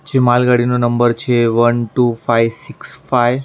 જે માલગાડીનો નંબર છે એ one two five six five .